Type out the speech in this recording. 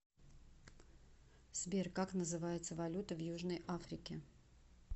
сбер как называется валюта в южной африке